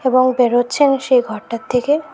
এবং বেরোচ্ছেন সেই ঘরটার থেকে।